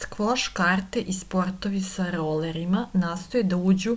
skvoš karate i sportovi sa rolerima nastoje da uđu